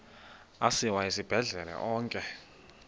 asiwa esibhedlele onke